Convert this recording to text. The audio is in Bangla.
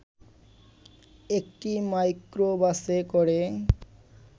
একটি মাইক্রোবাসে করে